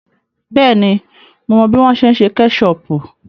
Bẹ́ẹ̀ni, mo mọ bí wọ́n ṣe ń ṣe kẹ́ṣọọ̀pù.